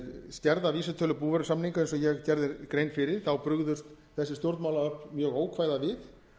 skerða vísitölu búvörusamninga eins og ég gerði grein fyrir brugðust þessi stjórnmálaöfl mjög ókvæða við